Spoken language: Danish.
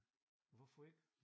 Hvorfor ikke?